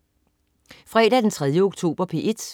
Fredag den 3. oktober - P1: